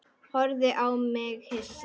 Horfði á mig hissa.